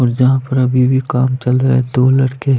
और यहाँ पर अभी भी काम चल रहा है दो लड़के --